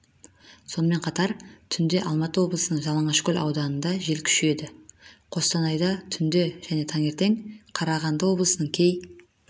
сонымен қатар түнде алматы облысының жалаңашкөл ауданында жел күшейеді қостанайда түнде және таңертең қарағанды облыстарының кей